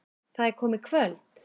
Það er komið kvöld.